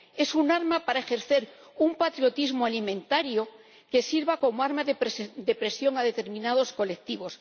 es un arma para ejercer un patriotismo alimentario que sirva como arma de presión a determinados colectivos